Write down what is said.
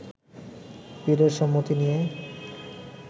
পীরের সম্মতি নিয়ে